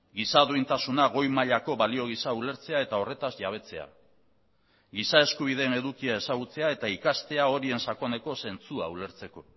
giza duintasuna goi mailako balio giza ulertzea eta horretaz jabetzea giza eskubideen edukia ezagutzea eta ikastea horien sakoneko zentzua ulertzeko